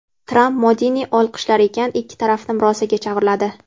Tramp Modini olqishlar ekan, ikki tarafni murosaga chorladi.